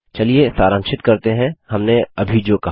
चलिए सारांशित करते हैं हमने अभी जो कहा